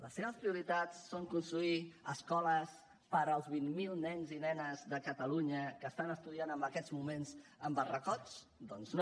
les seves prioritats són construir escoles per als vint mil nens i nenes de catalunya que estan estudiant en aquests moments en barracots doncs no